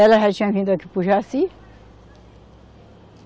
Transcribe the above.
Ela já tinha vindo aqui para o Jaci.